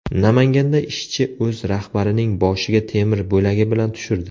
Namanganda ishchi o‘z rahbarining boshiga temir bo‘lagi bilan tushirdi.